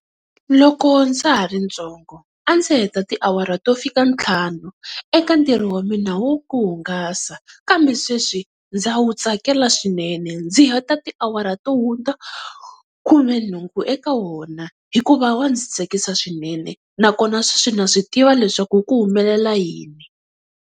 Loko ndza ha ri ntsongo a ndzi heta tiawara to fika ntlhanu eka ntirho wa mina wo ku hungasa, kambe sweswi ndza wu tsakela swinene ndzi heta tiawara to hundza khumenhungu eka wona hikuva wa ndzi tsakisa swinene nakona sweswi na swi tiva leswaku ku humelela yini.